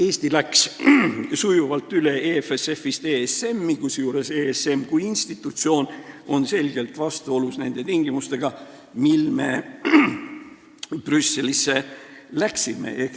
Eesti läks sujuvalt EFSF-ist üle ESM-i, kusjuures ESM kui institutsioon on selgelt vastuolus nende tingimustega, mille alusel me Brüsselisse läksime.